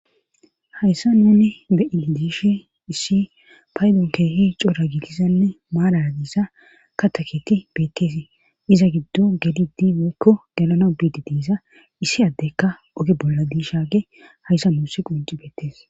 Hayssa nunne be7ili diishe issi paydon keehi cora gitisanne maara diissa ka taketi beetteesii iza giddo gedidi woykko dalana biidi diisa issi addekka oge bolla diishage hayssa nuussi qunci beettees.